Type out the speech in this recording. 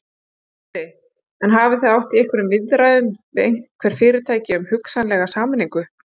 Sindri: En hafið þið átt í einhverjum viðræðum við einhver fyrirtæki um hugsanlega sameiningu?